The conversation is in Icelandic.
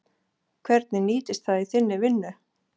Hvernig nýtist það í þinni vinnu?